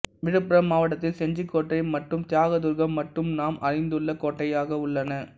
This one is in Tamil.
விழுப்புரம் மாவட்டத்தில் செஞ்சிக் கோட்டை மற்றும் தியாகதுர்கம் மட்டுமே நாம் அறிந்துள்ள கோட்டையாக உள்ளன